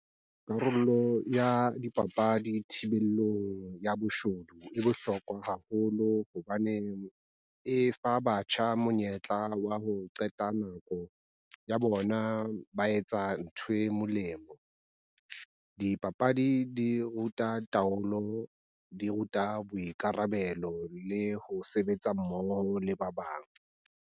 Karolo ya dipapadi thibelong ya boshodu e bohlokwa haholo. Hobaneng e fa batjha monyetla wa ho qeta nako ya bona ba etsa ntho e molemo. Dipapadi di ruta taolo, di ruta boikarabelo le ho sebetsa mmoho le ba bang.